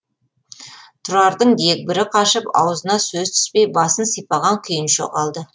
тұрардың дегбірі қашып аузына сөз түспей басын сипаған күйінше қалды